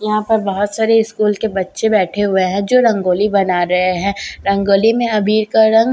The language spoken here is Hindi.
यहां पर बहुत सारे स्कूल के बच्चे बैठे हुए हैं जो रंगोली बना रहे हैं रंगोली में अबीर का रंग--